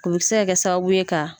U bi se ka kɛ sababu ka bonya ka.